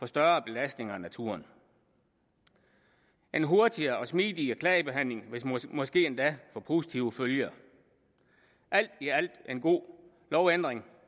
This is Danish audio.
større belastning af naturen en hurtigere og smidigere klagebehandling vil måske endda få positive følger alt i alt er det en god lovændring